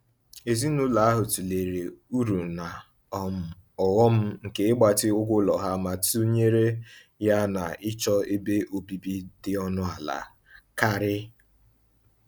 Ezinụlọ ahụ tụlere uru na um ọghọm nke ịgbatị ụgwọ ụlọ ha ma tụnyere ya na ịchọ ebe obibi dị ọnụ ala karị.